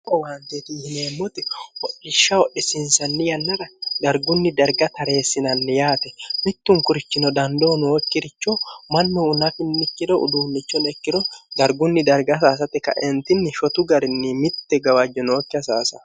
hao waanteetihineemmoote holishsha hodhisinsanni yannara dargunni darga tareessinanni yaate mittunkurichino dandoo nookkiricho mannu una kinnikkiro uduunnichonekkiro dargunni darga hasaasate kaentinni shotu garinni mitte gawajjo nookki hasaasa